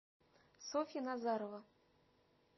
софья назарова